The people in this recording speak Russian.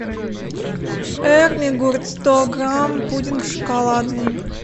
эрмигурт сто грамм пудинг шоколадный